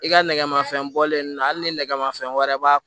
I ka nɛgɛmanfɛn bɔlen don hali ni nɛgɛmafɛn wɛrɛ b'a